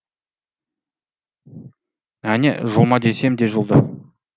әне жұлма десем де жұлды